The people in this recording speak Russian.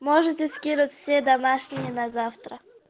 можете скинуть все домашние на завтра